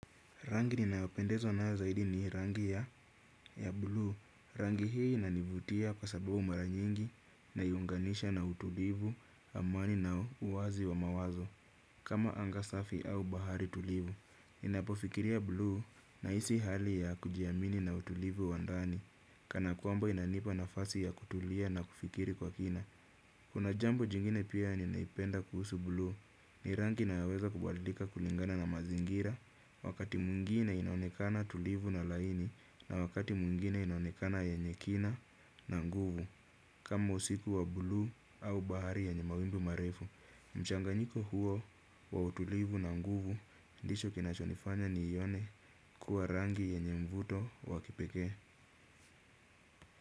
Rangi ninayopendezwa nayo zaidi ni hii rangi ya blue. Rangi hii inanivutia kwa sababu mara nyingi naiunganisha na utulivu amani na uwazi wa mawazo. Kama anga safi au bahari tulivu. Ninapofikiria blue nahisi hali ya kujiamini na utulivu wa ndani. Kana kwamba inanipa nafasi ya kutulia na kufikiri kwa kina. Kuna jambo jingine pia ninaipenda kuhusu buluu ni rangi inayoweza kubadilika kulingana na mazingira. Wakati mwingine inaonekana tulivu na laini na wakati mwingine inaonekana yenye kina na nguvu. Kama usiku wa buluu au bahari yenye mawimbi marefu mchanganyiko huo wa utulivu na nguvu ndicho kinachonifanya niione kuwa rangi yenye mvuto wa kipekee.